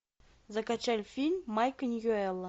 закачай фильм майка ньюэлла